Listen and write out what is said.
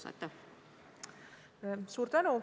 Suur tänu!